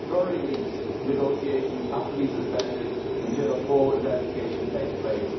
At the very least, negotiations have to be suspended until a full investigation takes place.